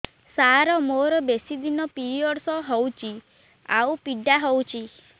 ସାର ମୋର ବେଶୀ ଦିନ ପିରୀଅଡ଼ସ ହଉଚି ଆଉ ପୀଡା ହଉଚି